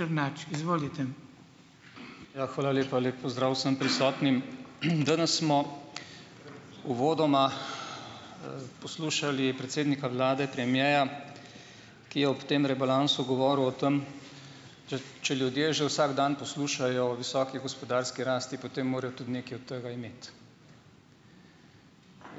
Izvolite. Ja, hvala lepa, lep pozdrav, vsem prisotnim, danes smo uvodoma, poslušali predsednika vlade premierja, ki je ob tem rebalansu govoril o tem, če ljudje že vsak dan poslušajo o visoki gospodarski rasti, potem morajo tudi nekaj od tega imeti,